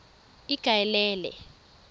ikaelele